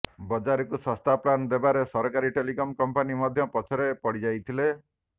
ବଜାରକୁ ଶସ୍ତା ପ୍ଲାନ ଦେବାରେ ସରକାରୀ ଟେଲିକମ କମ୍ପାନୀ ମଧ୍ୟ ପଛରେ ପଡ଼ିଯାଇଥିଲେ